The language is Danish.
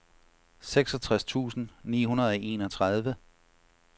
seksogtres tusind ni hundrede og enogtredive